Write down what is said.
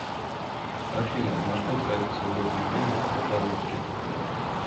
афина на что тратит свободное время рафаловский